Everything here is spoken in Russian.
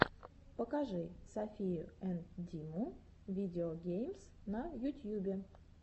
покажи софию энд диму видео геймс на ютьюбе